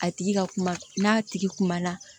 A tigi ka kuma n'a tigi kuma na